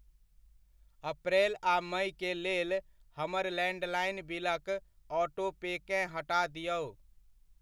अप्रैल आ मइ के लेल हमर लैण्डलाइन बिलक ऑटोपेकेँ हटा दिऔ।